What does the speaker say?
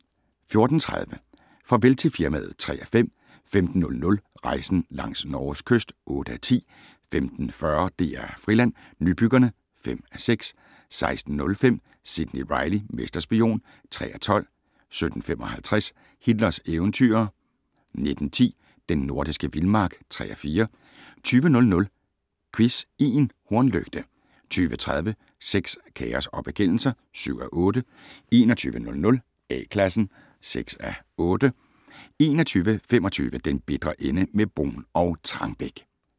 14:30: Farvel til firmaet (3:5) 15:00: Rejsen langs Norges kyst (8:10) 15:40: DR Friland: Nybyggerne (5:6) 16:05: Sidney Reilly - mesterspion (3:12) 17:55: Hitlers eventyrere 19:10: Den nordiske vildmark (3:4) 20:00: Quiz i en hornlygte 20:30: Sex, kaos og bekendelser (7:8) 21:00: A-Klassen (6:8) 21:25: Den bitre ende - med Bruun og Trangbæk